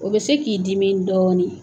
O bɛ se k'i dimi dɔɔnin.